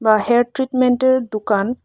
hair ট্রিটমেন্টের দুকান --